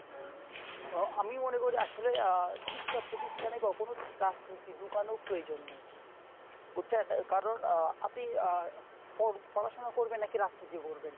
হ আমি মনে করি আসলে আহ শিক্ষা প্রতিষ্ঠানে কখনো রাজনীতি ঢুকানোর প্রয়োজন নেই। বুঝঝেন ? কারণ আহ আপনি আহ পড়া~ পড়াশুনো করবেন নাকি রাজনীতি করবেন ?